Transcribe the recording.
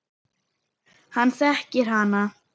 Hann þekkir hana.